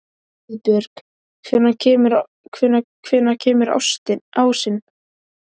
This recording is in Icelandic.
Auðbjörg, hvenær kemur ásinn?